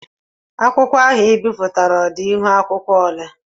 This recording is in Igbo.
Akwụkwọ ahụ I bipụtara ọ dị ihuakwụkwọ ole?